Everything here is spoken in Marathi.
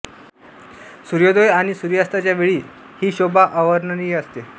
सूर्योदय आणि सूर्यास्ताच्या वेळी ता ही शोभा अवर्णनीय असते